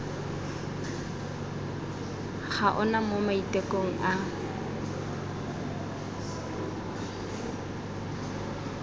ga ona mo maitekong a